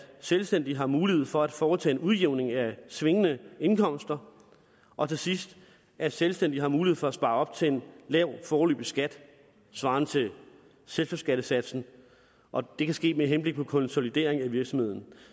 selvstændige har mulighed for at foretage en udjævning af svingende indkomster og til sidst at selvstændige har mulighed for at spare op til en lav foreløbig skat svarende til selskabsskattesatsen og det kan ske med henblik på konsolidering af virksomheden